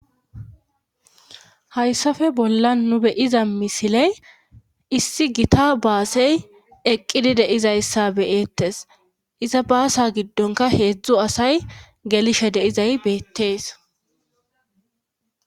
hayssafe bolla nu beyiza misiley issi gita baasey eqqidi deizayssa beyeettes iza baasa giddonka heedzdzu asay gelishe deizay beettees